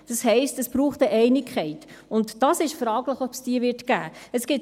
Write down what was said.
Das heisst, es braucht eine Einigkeit, und es ist fraglich, ob es diese geben wird.